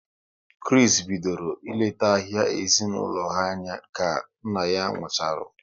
Kris bidoro ị lete ahia ezinaụlọ ha anya ka nna ya nkwucharu